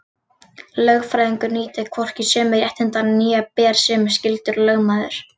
Lögfræðingur nýtur hvorki sömu réttinda né ber sömu skyldur og lögmaður.